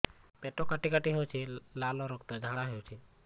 ପେଟ କାଟି କାଟି ହେଉଛି ଲାଳ ରକ୍ତ ଝାଡା ହେଉଛି